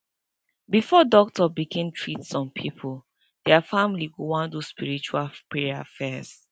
before doctor begin treat some pipo dia family go wan do spiritual prayer fess